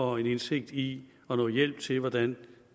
og indsigt i og noget hjælp til hvordan